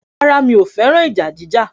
Rárá, mi ò fẹ́ràn ìjà jíjà